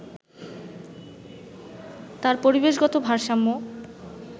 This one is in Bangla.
তার পরিবেশগত ভারসাম্য